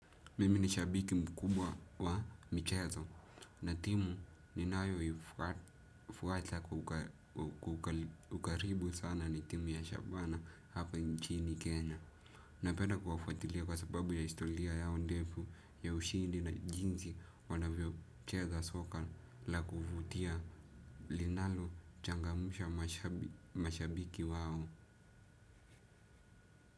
Mimi ni shabiki mkubwa wa michezo, na timu ninayo ifuata kwa ukaribu sana ni timu ya shabana hapa nchini kenya. Napenda kuwafuatilia kwa sababu ya historia yao ndefu ya ushindi na jinsi wanavyocheza soka la kuvitia linalo changamsha mashabiki wao.